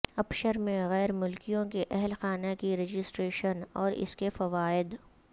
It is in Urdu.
ابشر میں غیر ملکیوں کے اہل خانہ کی رجسٹریشن اور اس کے فوائد